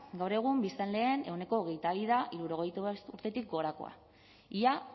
gaur egun biztanleen ehuneko hogeita bi da hirurogeita bost urtetik gorakoa ia